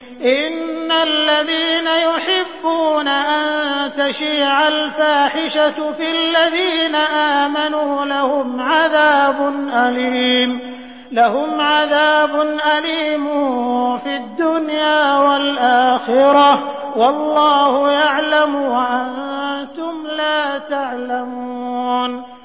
إِنَّ الَّذِينَ يُحِبُّونَ أَن تَشِيعَ الْفَاحِشَةُ فِي الَّذِينَ آمَنُوا لَهُمْ عَذَابٌ أَلِيمٌ فِي الدُّنْيَا وَالْآخِرَةِ ۚ وَاللَّهُ يَعْلَمُ وَأَنتُمْ لَا تَعْلَمُونَ